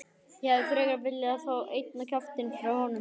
Ég hefði frekar viljað fá einn á kjaftinn frá honum.